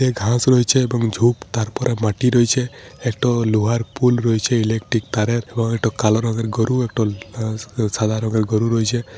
এ ঘাস রয়েছে এবং ঝোপ তারপর মাটি র‍‍য়েছে একটো লোহার পুল র‍‍য়েছে ইলেক্ট্রিক তারের এবং একটো কালো রঙ্গের গরু একটো আ আ সাদা রঙ্গের গরু র‍‍য়েছে।